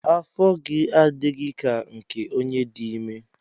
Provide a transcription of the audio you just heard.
Afọ gị adịghị ka nke onye dị ime.